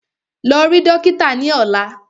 Lọ rí dókítà ni ọ̀la!